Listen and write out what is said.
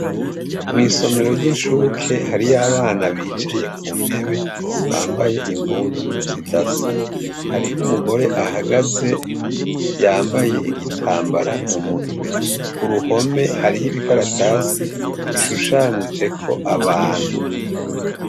Mw'isomero ryishuke hariyo abana bicaye kuntebe bambaye impuzu zidasa, hariho umugore ahagaze yambaye igitambara mumutwe, kuruhome hariyo ibikaratasi bishushanijeko abantu.